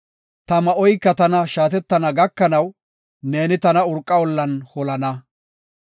ta ma7oyka tana shaatettana gakanaw, neeni tana urqa ollan holana.